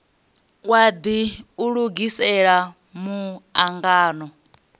wadi u lugisela mu angano